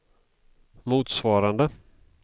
motsvarande